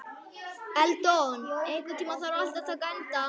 Eldon, einhvern tímann þarf allt að taka enda.